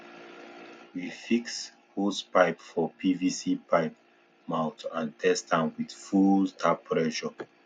we fix hosepipe for pvc pipe mouth and test am with full tap pressure